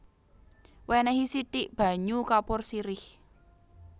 Wènèhi sithik banyu kapur sirih